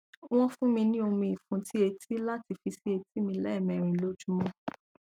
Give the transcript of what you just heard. wọn fún mi ní omi ìfúntí etí láti fi sí etí mi lẹẹmẹrin lójúmọ